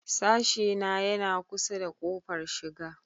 Sashena yana kusa da ƙofar shiga.